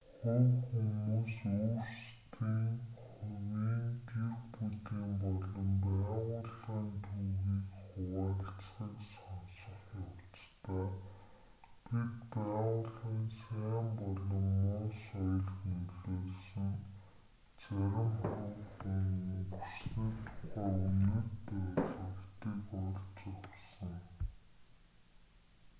хувь хүмүүс өөрсдийн хувийн гэр бүлийн болон байгууллагын түүхийг хуваалцахыг сонсох явцдаа бид байгууллагын сайн болон муу соёлд нөлөөлсөн зарим хувь хүн өнгөрсөний тухай үнэт ойлголтыг олж авсан